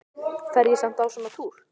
Fer ég samt á svona túr?